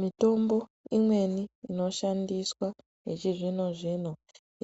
Mitombo imweni inoshandiswa yechizvino zvino